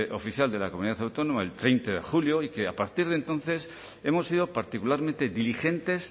oficial de la comunidad autónoma el treinta de julio y que a partir de entonces hemos sido particularmente diligentes